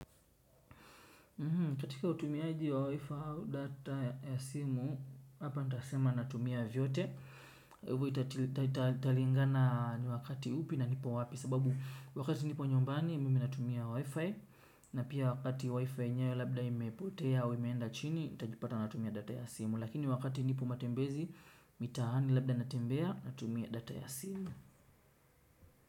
Katika utumiaji wa wifi au data ya simu hapa nitasema natumia vyote kwa hivo italingana ni wakati upi na nipo wapi sababu wakati nipo nyumbani mimi natumia wifi. Na pia wakati wifi yenyewe labda imepotea au imeenda chini nitajipata natumia data ya simu. Lakini wakati nipo matembezi mitaani labda natembea natumia data ya simu.